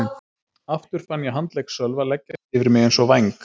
Aftur fann ég handlegg Sölva leggjast yfir mig eins og væng.